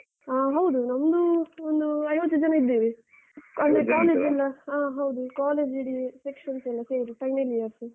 ಹ ಹೌದು ನಮ್ದು ಒಂದು ಐವತ್ತು ಜನ ಇದ್ದೇವೆ. ಅಂದ್ರೆ ಆ ಹೌದು college ಇಡಿ sections ಎಲ್ಲ ಸೇರಿ final years .